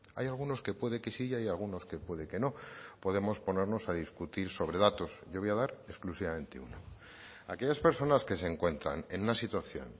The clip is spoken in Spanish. hay algunos que puede que sí y hay algunos que puede que no podemos ponernos a discutir sobre datos yo voy a dar exclusivamente uno aquellas personas que se encuentran en una situación